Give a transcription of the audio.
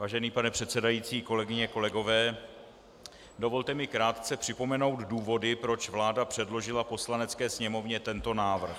Vážený pane předsedající, kolegyně, kolegové, dovolte mi krátce připomenout důvody, proč vláda předložila Poslanecké sněmovně tento návrh.